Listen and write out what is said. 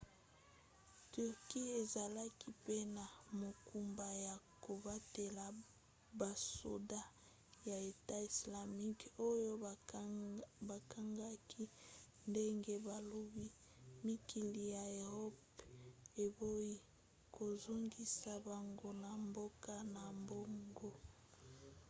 turquie ezalaki pe na mokumba ya kobatela basoda ya etat islamique oyo bakangaki ndenge balobi mikili ya eropa eboyi kozongisa bango na mboka na bango